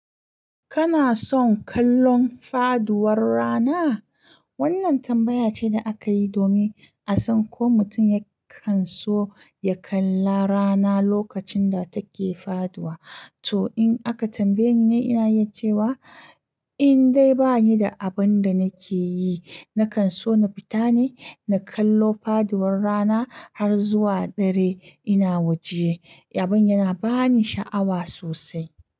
Kana son kallon faduwar rana? Wannan tambaya ce da aka yi domin a san ko mutum yakan so ya kalla rana lokacin da take faduwa. To, in aka tambaye ni, ina yi cewa in dai bani da abin da nake yi, nakan so na fita ne na kallo faduwar rana har zuwa dare. Ina waje, abin yana ba ni sha'awa sosai.